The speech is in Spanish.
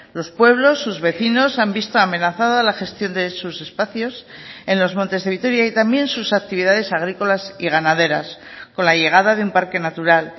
los pueblos sus vecinos han visto amenazada la gestión de sus espacios en los montes de vitoria y también sus actividades agrícolas y ganaderas con la llegada de un parque natural